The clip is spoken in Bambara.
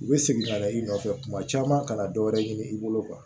U bɛ segin ka na i nɔfɛ kuma caman ka na dɔ wɛrɛ ɲini i bolo